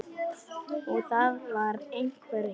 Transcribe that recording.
Og það var einhver hiti.